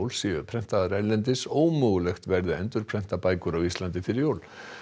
séu prentaðar erlendis ómögulegt verði að endurprenta bækur á Íslandi fyrir jól